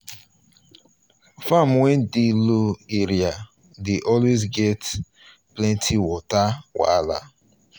farm wey dey low area dey always get um plenty water um wahala.